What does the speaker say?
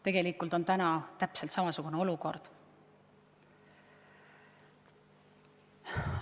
Tegelikult on praegu täpselt samasugune olukord.